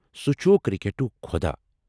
سُہ چُھ کرکٹُک خۄداہ۔